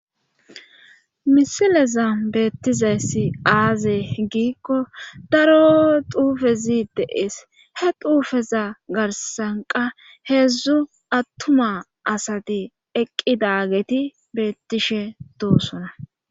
Misileza beettizayssi aaze giikko daro xuufezi de'ees he xuufeza garssanqa heedzdzu attuma asati eqqidageti beettishe doosona